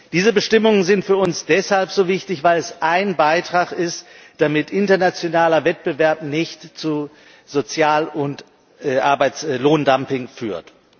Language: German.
Diese Bestimmungen sind für uns deshalb so wichtig, weil es ein Beitrag dazu ist, dass internationaler Wettbewerb nicht zu Sozial und Arbeitslohndumping führt.